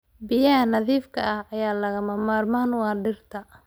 Biyaha nadiifka ah ayaa lagama maarmaan u ah dhirta.